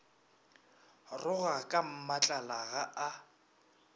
roga ka mmatlala ga a